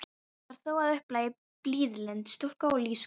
Þetta var þó að upplagi blíðlynd stúlka og lífsglöð.